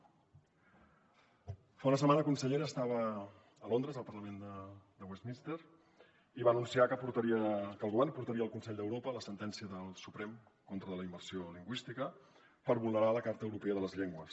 fa una setmana consellera estava a londres al parlament de westminster i va anunciar que el govern portaria al consell d’europa la sentència del suprem contra la immersió lingüística per vulnerar la carta europea de les llengües